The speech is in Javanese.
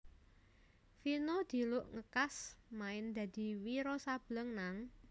Vino diluk ngkas main dadi Wiro Sableng nang